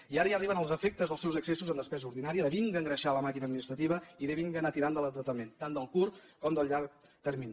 i ara ja arriben els efectes dels seus excessos en despesa ordinària de vinga engreixar la màquina administrativa i de vinga anar tirant de l’endeutament tant del curt com del llarg termini